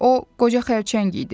O qoca xərçəng idi.